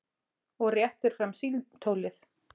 Og réttir fram símtólið.